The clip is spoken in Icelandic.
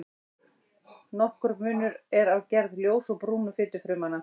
Nokkur munur er á gerð ljósu og brúnu fitufrumnanna.